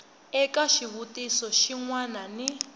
eka xivutiso xin wana ni